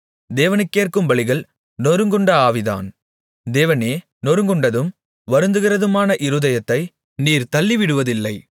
தேவனுக்கேற்கும் பலிகள் நொறுங்குண்ட ஆவிதான் தேவனே நொறுங்குண்டதும் வருந்துகிறதுமான இருதயத்தை நீர் தள்ளிவிடுவதில்லை